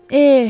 Eh!